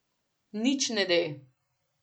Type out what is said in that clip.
Nič ne de.